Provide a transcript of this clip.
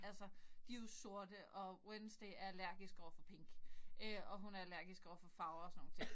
Altså de jo sorte og Wednesday er allergisk overfor pink øh og hun er allergisk overfor farver og sådan nogle ting